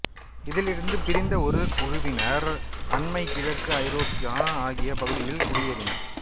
இதிலிருந்து பிரிந்த ஒரு குழுவினர் அண்மைக் கிழக்கு ஐரோப்பா ஆகிய பகுதிகளில் குடியேறினர்